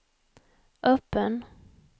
öppen